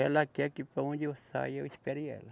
Ela quer que para onde eu saia, eu espere ela.